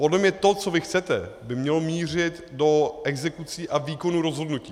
Podle mě to, co vy chcete, by mělo mířit do exekucí a výkonu rozhodnutí.